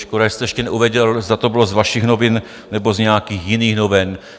Škoda, že jste ještě neuvedl, zda to bylo z vašich novin, nebo z nějakých jiných novin.